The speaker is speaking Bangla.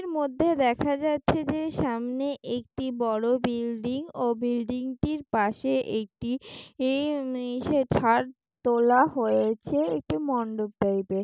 এর মধ্যে দেখা যাচ্ছে যে সামনে একটি বড় বিল্ডিং ও বিল্ডিং টির পাশে একটি ই ইশে ছাদ তোলা হয়েছে একটি মণ্ডপ টাইপের।